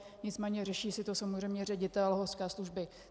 Nicméně řeší si to samozřejmě ředitel horské služby.